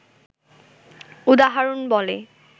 উদাহরণ বলে